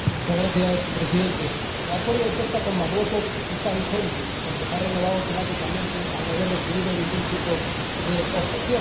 Señor Presidente, el Acuerdo de pesca con Marruecos está vigente porque se ha renovado automáticamente al no haber recibido ningún tipo de objeción.